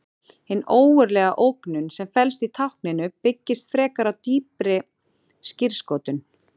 Hin raunverulega ógnun sem felst í tákninu byggist frekar á dýpri skírskotun.